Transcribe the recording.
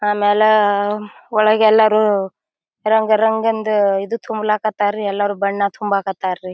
ಆಮೇಲೆ ಒಳಗೆಲ್ಲಾರೂ ರಂಗ್ ರಂಗಿಂದು ಈದ್ ತುಂಬಲಕತ್ತರ್ ರೀ ಎಲ್ಲಾರು ಬಣ್ಣ ತುಂಬಕತ್ತರಿ.